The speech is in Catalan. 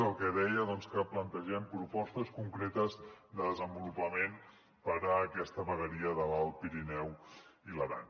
el que deia doncs que plantegem propostes concretes de desenvolupament per a aquesta vegueria de l’alt pirineu i l’aran